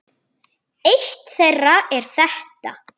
Eitt þeirra er þetta